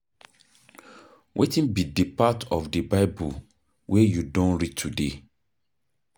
Wetin be di part of di Bible wey you don read today?